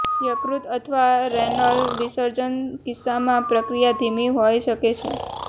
યકૃત અથવા રેનલ વિસર્જન કિસ્સામાં પ્રક્રિયા ધીમી હોઇ શકે છે